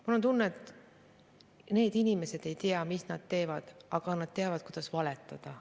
Mul on tunne, et need inimesed ei tea, mida nad teevad, aga nad teavad, kuidas valetada.